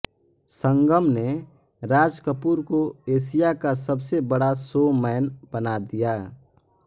संगम ने राज कपूर को एशिया का सबसे बड़ा शो मैन बना दिया